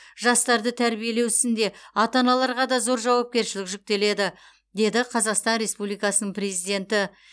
жастарды тәрбиелеу ісінде ата аналарға да зор жауапкершілік жүктеледі деді қазақстан республикасының президенті